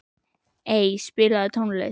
Ey, spilaðu tónlist.